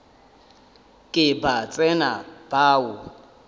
ke ba tsena ba o